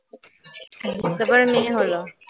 তারপর মেয়ে হল